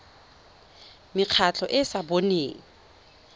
mekgatlho e e sa boneng